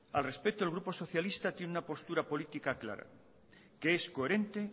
al respecto el grupo socialista tiene una postura política clara que es coherente